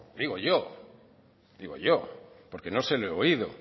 digo yo digo yo porque no se lo he oído